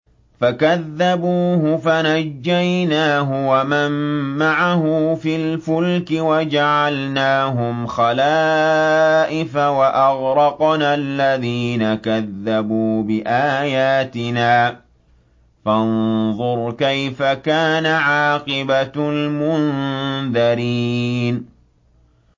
فَكَذَّبُوهُ فَنَجَّيْنَاهُ وَمَن مَّعَهُ فِي الْفُلْكِ وَجَعَلْنَاهُمْ خَلَائِفَ وَأَغْرَقْنَا الَّذِينَ كَذَّبُوا بِآيَاتِنَا ۖ فَانظُرْ كَيْفَ كَانَ عَاقِبَةُ الْمُنذَرِينَ